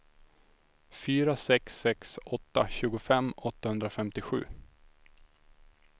fyra sex sex åtta tjugofem åttahundrafemtiosju